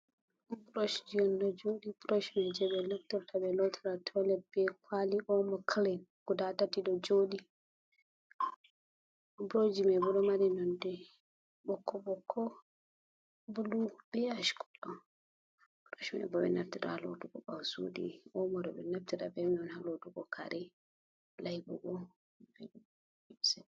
Freshji on ɗo jooɗi feshji jey ɓe naftrta bee lootira tolet, bee kwali omo kilin gudaa tati ɗo jooɗi bush ji mai boo ɗo mari nonde ɓokko-ɓokko bili bee ask kolo, burosh mai bo ɓe ɗo naftira haa lootugo kare, layɓugo.